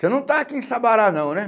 Você não está aqui em Sabará não, né?